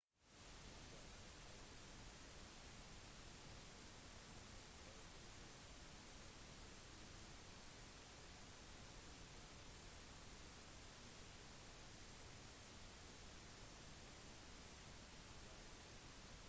mange av tradisjonene som vi har i høytiden har også blitt adoptert av ikke-troende i kristne land og ikke-kristne rundt omkring i verden